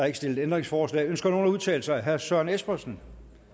ikke stillet ændringsforslag ønsker nogen at udtale sig herre søren espersen